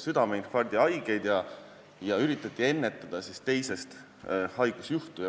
südameinfarkti haigeid ja üritati ennetada teisest haigusjuhtu.